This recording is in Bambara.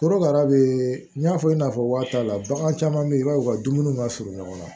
Korokara bɛ n y'a fɔ i n'a fɔ waati t'a la bagan caman bɛ yen i b'a ye u ka dumuni ma surun ɲɔgɔn na